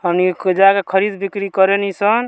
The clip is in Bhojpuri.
हमनी जाके खरीद बिक्री करे निसन।